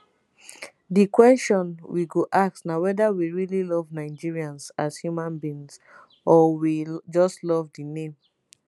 "di kwesion we go ask na weda we really love nigerians as human being or we just love di name.